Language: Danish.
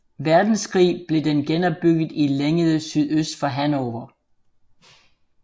Verdenskrig blev den genopbygget i Lengede sydøst for Hannover